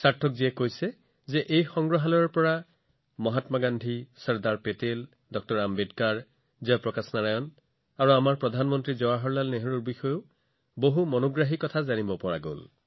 সাৰ্থকজীয়ে লগতে কয় যে এই সংগ্ৰহালয়ত মহাত্মা গান্ধী চৰ্দাৰ পেটেল ড০ আম্বেদকাৰ জয় প্ৰকাশ নাৰায়ণ আৰু আমাৰ প্ৰধানমন্ত্ৰী পণ্ডিত জৱাহৰলাল নেহৰুৰ বিষয়েও অতি আকৰ্ষণীয় তথ্য উপলব্ধ আছে